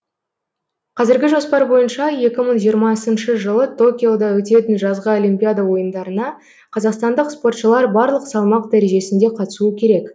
қазіргі жоспар бойынша екі мың жиырмасыншы жылы токиода өтетін жазғы олимпиада ойындарына қазақстандық спортшылар барлық салмақ дәрежесінде қатысуы керек